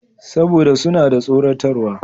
Saboda suna da tsoratarwa.